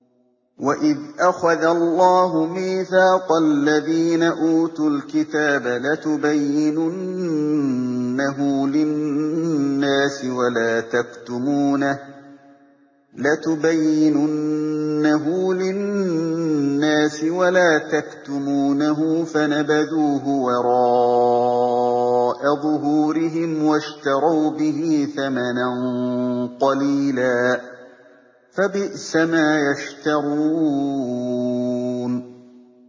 وَإِذْ أَخَذَ اللَّهُ مِيثَاقَ الَّذِينَ أُوتُوا الْكِتَابَ لَتُبَيِّنُنَّهُ لِلنَّاسِ وَلَا تَكْتُمُونَهُ فَنَبَذُوهُ وَرَاءَ ظُهُورِهِمْ وَاشْتَرَوْا بِهِ ثَمَنًا قَلِيلًا ۖ فَبِئْسَ مَا يَشْتَرُونَ